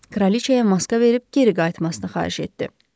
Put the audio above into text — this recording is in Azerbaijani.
Kraliçaya maska verib geri qayıtmasını xahiş etdi.